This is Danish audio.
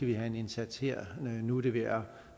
vi have en indsats her nu er det ved at